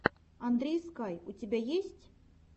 андрей скай у тебя есть